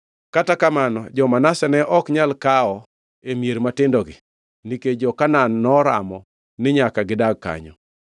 Kata kamano, jo-Manase ne ok nyal kawo e mier matindogi, nikech jo-Kanaan noramo ni nyaka gidag kanyo.